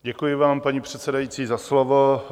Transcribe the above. Děkuji vám, paní předsedající, za slovo.